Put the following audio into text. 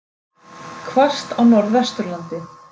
Hvasst á Norðvesturlandi